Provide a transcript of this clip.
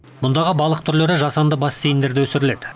мұндағы балық түрлері жасанды бассейндерде өсіріледі